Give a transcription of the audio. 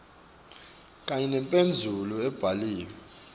kanye nemphendvulo lebhalwe